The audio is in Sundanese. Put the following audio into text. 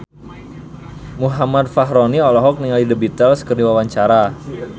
Muhammad Fachroni olohok ningali The Beatles keur diwawancara